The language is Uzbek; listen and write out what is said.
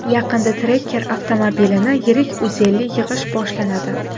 Yaqinda Tracker avtomobilini yirik uzelli yig‘ish boshlanadi.